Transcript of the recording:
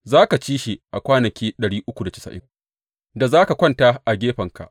Za ka ci shi a kwanaki da za ka kwanta a gefenka.